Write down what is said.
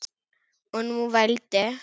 Og nú vældi